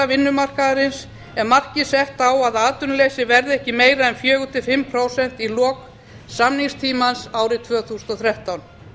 vinnumarkaðarins er markið sett á að atvinnuleysi verði ekki meira en fjórir til fimm prósent í lok samningstímans árið tvö þúsund og þrettán